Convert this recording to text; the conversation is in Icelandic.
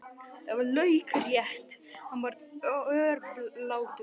Það var laukrétt, hann var örlátur.